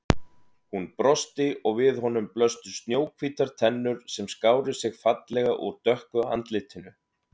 Hún brosti og við honum blöstu snjóhvítar tennur sem skáru sig fallega úr dökku andlitinu.